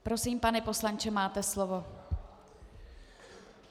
Prosím, pane poslanče, máte slovo.